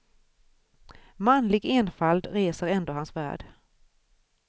Manlig enfald reser ändå hans värld.